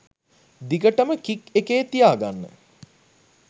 දිගටම කික් එකේ තියාගන්න.